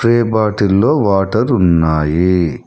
Spray bottle లో water ఉన్నాయి.